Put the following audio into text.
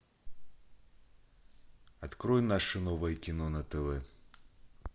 открой наше новое кино на тв